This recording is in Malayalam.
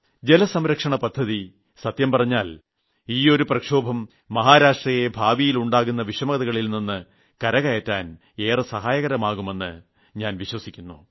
ജലസംരക്ഷണപദ്ധതി സത്യം പറഞ്ഞാൽ ഈ ഒരു മുന്നേറ്റം മഹാരാഷ്ട്രയെ ഭാവിയിൽ ഉണ്ടാകുന്ന വിഷമതകളിൽനിന്ന് കരകയറാൻ ഏറെ സഹായകമാകുമെന്ന് ഞാൻ കരുതുന്നു